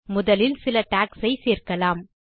முதலில் சில டாக்ஸ் ஐ சேர்க்கலாம்